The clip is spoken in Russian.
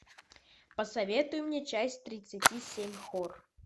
посоветуй мне часть тридцати семь хор